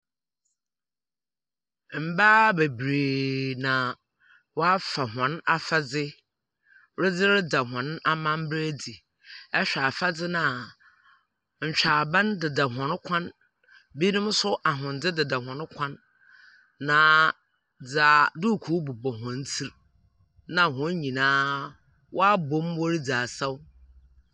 Mbaa bebree na wɔafa wɔn afadze redze reda hɔn amambra adzi. Ihwɛ afadze no a nhwaaban hɔn kɔn. Binom nso ahwendze deda wɔn kɔn. Na dza bobɔ wɔn tsir. Na wɔn nyinaa wɔabom wɔredzi asaw.